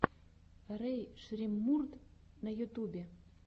рэй шреммурд на ютубе